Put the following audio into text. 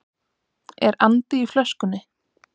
Er andi í flöskunni?